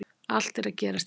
Allt er að gerast hérna!!